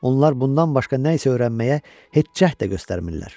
Onlar bundan başqa nə isə öyrənməyə heç cəhd də göstərmirlər.